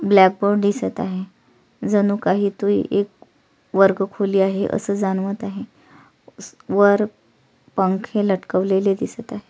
Blackboard दिसत आहे जणू काही तो ए एक वर्गखोली आहे अस जाणवत आहे स वर पंखे लटकवलेले दिसत आहे.